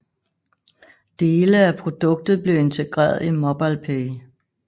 Dele af produktet blev integreret i MobilePay